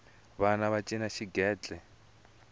vana va cina xigentle